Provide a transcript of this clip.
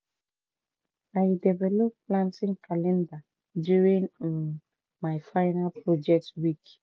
i develop planting calendar during um my final project week